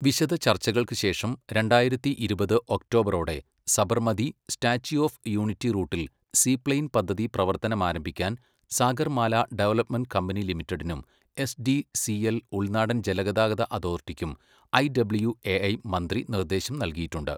വിശദചർച്ചകൾക്ക് ശേഷം, രണ്ടായിരത്തി ഇരുപത് ഒക്ടോബറോടെ സബർമതി, സ്റ്റാച്യു ഓഫ് യൂണിറ്റി റൂട്ടിൽ സീപ്ലെയിൻ പദ്ധതി പ്രവർത്തനം ആരംഭിക്കാൻ സാഗർമാല ഡെവലപ്മെന്റ് കമ്പനി ലിമിറ്റഡിനും എസ് ഡി സി എൽ ഉൾനാടൻ ജലഗതാഗത അതോറിറ്റിക്കും ഐഡബ്ല്യുഎഐ മന്ത്രി നിർദ്ദേശം നൽകിയിട്ടുണ്ട്